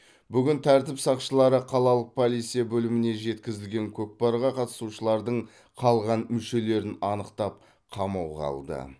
бүгін тәртіп сақшылары қалалық полиция бөліміне жеткізілген кокпарға қатысушылардың қалған мүшелерін анықтап қамауға алды